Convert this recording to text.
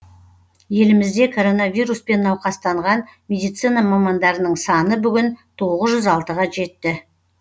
елімізде коронавируспен науқастанған медицина мамандарының саны бүгін тоғыз жүз алтыға жетті